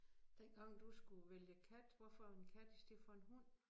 Dengang du skulle vælge kat hvorfor en kat i stedet for en hund